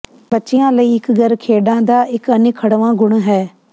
ਬੱਚਿਆਂ ਲਈ ਇਕ ਘਰ ਖੇਡਾਂ ਦਾ ਇਕ ਅਨਿੱਖੜਵਾਂ ਗੁਣ ਹੈ